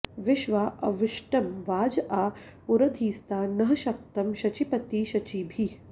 विश्वा॑ अविष्टं॒ वाज॒ आ पुरं॑धी॒स्ता नः॑ शक्तं शचीपती॒ शची॑भिः